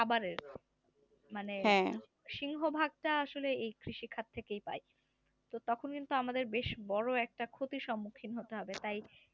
সিংহভাগটা আসলে এই কৃষি কাজ থেকেই পাই তখন তাহলে বেশ বড় একটা ক্ষতির সম্মুখীন হতে হবে তাই